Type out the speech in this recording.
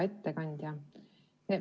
Hea ettekandja!